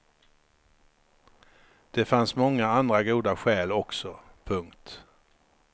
Det fanns många andra goda skäl också. punkt